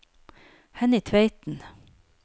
Henny Tveiten